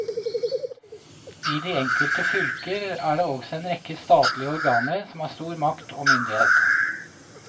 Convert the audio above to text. I de enkelte fylker er det også en rekke statlige organer som har stor makt og myndighet.